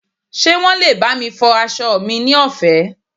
ṣe wan lè bami fọ aso mi ni ọfẹ